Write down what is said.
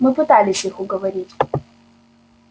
мы пытались их уговорить